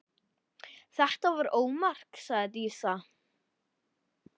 Þetta var ómark, sagði Dísa.